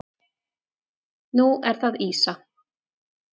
Nú er það ýsa.